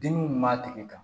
Dimi min b'a tigi kan